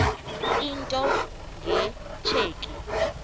into nge tsheki